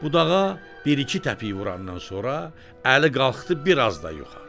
Budağa bir-iki təpik vurandan sonra, Əli qalxdı biraz da yuxarı.